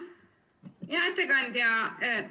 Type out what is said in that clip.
Hea ettekandja!